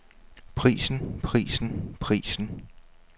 prisen prisen prisen